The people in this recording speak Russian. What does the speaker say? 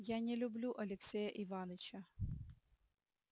я не люблю алексея иваныча